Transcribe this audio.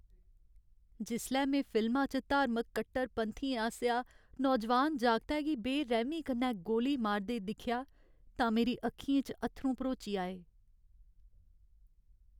जिसलै में फिल्मा च धार्मिक कट्टरपंथियें आसेआ नौजवान जागतै गी बेरैह्मी कन्नै गोली मारदे दिक्खेआ तां मेरी अक्खियें च अत्थरूं भरोची आए।